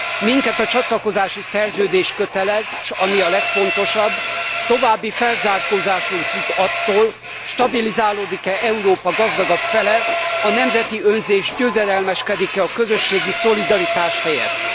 Minket a csatlakozási szerződés kötelez, s ami a legfontosabb, további felzárkózásunk függ attól, stabilizálódik e Európa gazdagabb fele, a nemzeti önzés győzedelmeskedik e a közösségi szolidaritás helyett.